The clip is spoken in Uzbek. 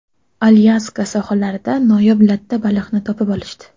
Alyaska sohillarida noyob latta baliqni topib olishdi .